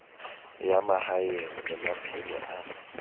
ya mahaeng le maphelo a